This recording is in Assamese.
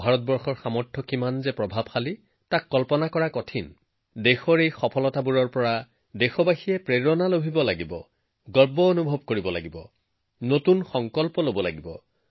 ভাৰতৰ সম্ভাৱনা কিমান শক্তিশালী তাৰ আভাস মাথোঁদেশৰ এই কৃতিত্বৰ পৰা দেশৰ জনসাধাৰণৰ এই উপলব্ধিৰ পৰা প্ৰেৰণা গৌৰৱ নতুন দৃঢ়তা গঢ় দিব লাগিব